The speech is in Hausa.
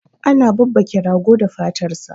ana babbake rago da fatar sa